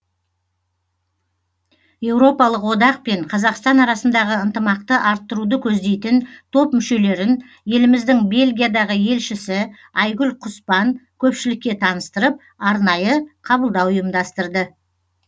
еуропалық одақ пен қазақстан арасындағы ынтымақты арттыруды көздейтін топ мүшелерін еліміздің бельгиядағы елшісі айгүл құспан көпшілікке таныстырып арнайы қабылдау ұйымдастырды